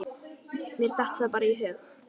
Mér datt það bara í hug.